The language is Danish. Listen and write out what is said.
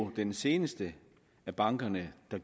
den seneste af bankerne der